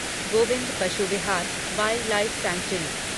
Govind Pashu Vihar wildlife sanctuary